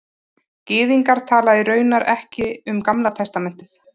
Gyðingar tala raunar ekki um Gamla testamentið